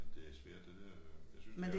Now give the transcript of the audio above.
Det svært det dér jo jeg synes det er